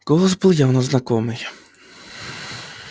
голос был явно знакомый